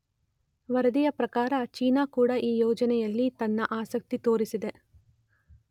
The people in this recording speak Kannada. ವರದಿಯ ಪ್ರಕಾರ ಚೀನಾ ಕೂಡ ಈ ಯೋಜನೆಯಲ್ಲಿ ತನ್ನ ಆಸಕ್ತಿ ತೋರಿಸಿದೆ.